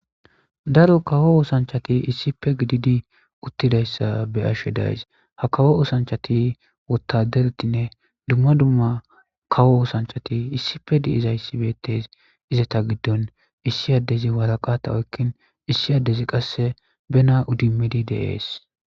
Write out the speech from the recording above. daro kawo oosanchati issife gididi uttidayssa be ashshe days ha kawo osanchati wotaderetinne dumma dumma kawo oosanchati issife di7izayssi beettes izata giddon issi addezi waraqata oykkin issi addezi qasse bena udimidi deees